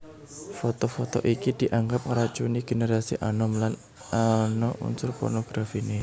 Foto foto iki dianggep ngracuni génerasi anom lan ana unsur pornografiné